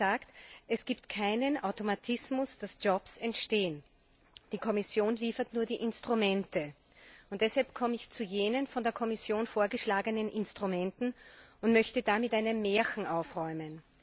Sie hat gesagt, es gibt keinen Automatismus, der dafür sorgt, dass Jobs entstehen, die Kommission liefert nur die Instrumente. Deshalb komme ich nun zu den von der Kommission vorgeschlagenen Instrumenten und möchte da mit einem Märchen aufräumen.